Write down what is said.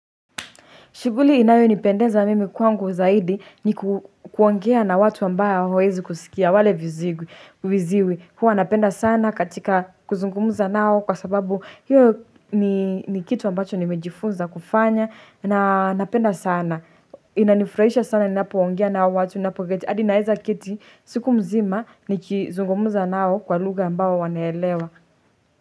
Shughuli inayo ni pendenza mimi kwangu zaidi ni kuongea na watu ambao hawawezi kusikia wale viziwi. Huwa napenda sana katika kuzungumuza nao kwa sababu hiyo ni kitu ambacho nimejifunza kufanya. Na napenda sana. Inanifurahisha sana ni napoongea na hawa watu. Hadi naeza keti siku mzima ni kuzungumuza nao kwa lugha ambao wanaelewa.